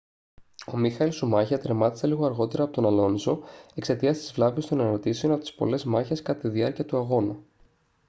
ο μίχαελ σουμάχερ τερμάτισε λίγο αργότερα από τον αλόνσο εξαιτίας της βλάβης των αναρτήσεων από τις πολλές μάχες κατά τη διάρκεια του αγώνα